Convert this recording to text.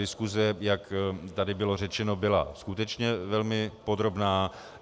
Diskuse, jak tady bylo řečeno, byla skutečně velmi podrobná.